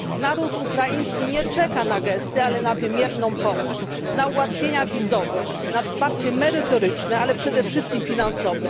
Naród ukraiński nie czeka na gesty, ale na wymierną pomoc, na ułatwienia wizowe, na wsparcie merytoryczne, ale przede wszystkim finansowe.